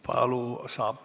Palun!